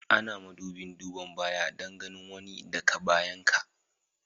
Ana madubin duban baya Dan ganin wani da ka bayan ka.